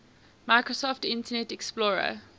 microsoft internet explorer